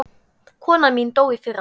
Konan mín dó í fyrra.